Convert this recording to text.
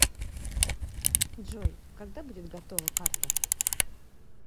джой когда будет готова карто